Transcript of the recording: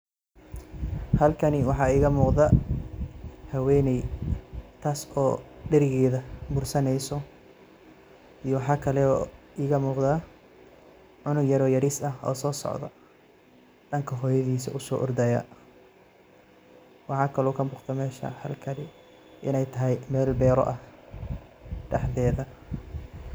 Halkani waxa iga muqdah, haweeney taasi oo deerigeyha bursaneysoh iyo waxkali oo iga muqdah cunog yaarvoo Yaris aah oo sosocdoh oo danga hoyathisa u so orday waxkali oo kamuqdah meshan beeri inaytahay beer daxtetha .